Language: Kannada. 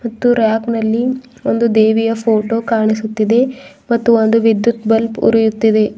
ಮತ್ತು ರ್ಯಾಕ್ ನಲ್ಲಿ ಒಂದು ದೇವಿಯ ಫೋಟೋ ಕಾಣಿಸುತ್ತಿದೆ ಮತ್ತು ಒಂದು ವಿದ್ಯುತ್ ಬಲ್ಬ್ ಉರಿಯುತ್ತಿದೆ.